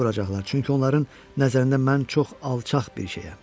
Tənə vuracaqlar, çünki onların nəzərində mən çox alçaq bir şeyəm.